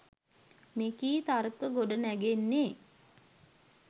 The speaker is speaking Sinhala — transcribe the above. මේකී තර්ක ගොඩනැගෙන්නේ